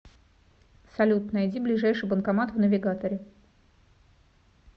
салют найди ближайший банкомат в навигаторе